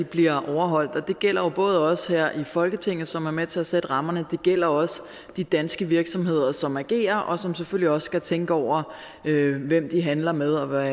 bliver overholdt og det gælder jo både os her i folketinget som er med til at sætte rammerne og det gælder også de danske virksomheder som agerer og som selvfølgelig også skal tænke over hvem de handler med og hvad